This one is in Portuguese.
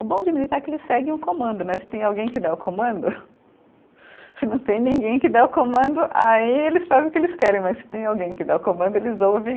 O bom de militar é que eles seguem o comando né, se tem alguém que dá o comando, se não tem ninguém que dá o comando, aí eles fazem o que eles querem, mas se tem alguém que dá o comando, eles ouvem.